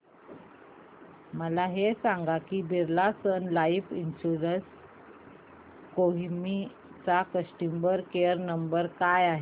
मला हे सांग की Birla sun life insurance Kohima चा कस्टमर केअर क्रमांक काय आहे